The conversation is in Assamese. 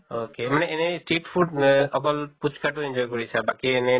ok মানে এনে street food ৱে অকল পুচ্কাটো enjoy কৰিছা বাকী এনে